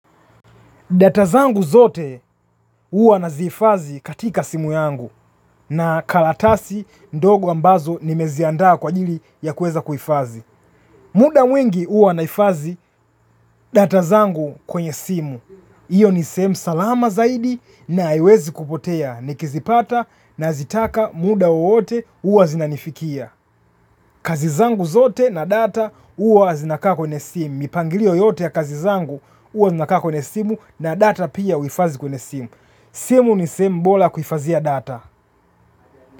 Data zangu zote uwa nazi hifadhiazi katika simu yangu na karatasi ndogo ambazo nimeziandaa kwa ajili ya kuweza kuifadhi. Muda mwingi huwa naifadhi data zangu kwenye simu. hIyo ni sehemu salama zaidi na haiwezi kupotea nikizipata na zitaka muda wowote huwa zinanifikia. Kazi zangu zote na data huwa zinakaa kwenye simu. Mipangilio yote ya kazi zangu huwa zinakaa kwenye simu na data pia huhifadhi kwenye simu. Simu ni simu bora kuhifadhia data.